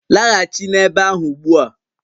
Laghachi n'ebe ahụ ugbu a!